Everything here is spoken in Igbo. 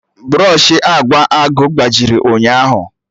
Brọshị agba agụụ gbajiri ụnyaahụ